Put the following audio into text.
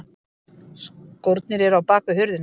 Skórnir eru á bakvið hurðina.